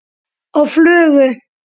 Á flugu?